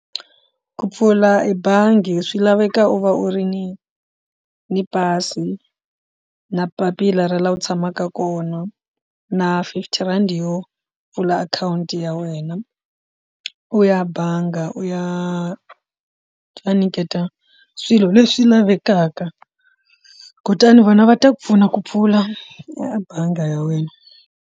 Ku pfula ebangi swi laveka u va u ri ni ni pasi na papila ra laha u tshamaka kona na fifty rand yo pfula akhawunti ya wena wena u ya bangi u ya va nyiketa swilo leswi lavekaka kutani vona va ta ku pfuna ku pfula ebangi ya wena.